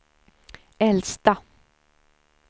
äldsta